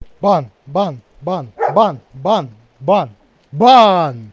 бан бан бан бан бан бан бан